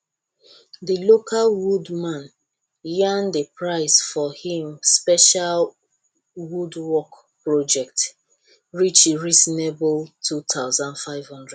the local woodman yarn the price for him special woodwork project reach reasonable 2500